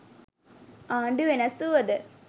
ආණ්ඩු වෙනස් වුවද